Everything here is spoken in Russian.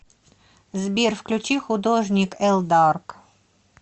сбер включи художник элдарк